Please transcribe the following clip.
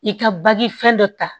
I ka baji fɛn dɔ ta